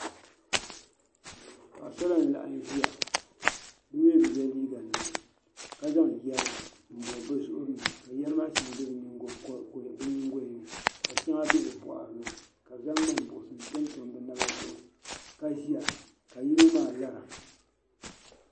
Paɣisara n laɣim nʒiya bimi bɛ ye liiga nima. ka zaŋ yari n bɔbi bɛzuɣrini, ka yeri maa shaŋa be bɛ nyiŋgoyani. ka shaŋa be bɛ bɔɣirini ka bi zaŋ mŋan buɣibihi n-tam tam bɛ naba zuɣu ka ʒiya ka yinɔ maa lara.